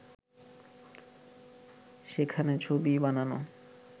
সেখানে ছবি বানানো